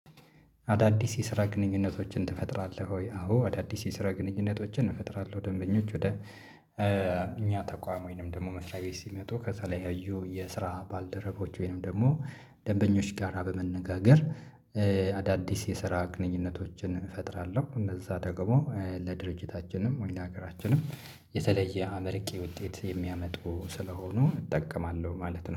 አዳዲስ የስራ ግንኙነቶችን ትፈጥራለህ ወይ? አዎ አዳዲስ የስራ ግንኙነቶችን እፈጥራለሁ። ደንበኞች ወደ እኛ ተቋም ወይንም ደግሞ መስሪያ ቤት ሲመጡ ከተለያዩ የስራ ባልደረቦች ወይንም ደግሞ ደንበኞች ጋራ በመነጋገር አዳዲስ የስራ ግንኙነቶችን እፈጥራለሁ። እነዛ ደግሞ ለድርጅታችንም ወይ ለሀገራችንም የተለየ አመርቂ ውጤት የሚያመጡ ስለሆኑ እጠቀማለሁ ማለት ነው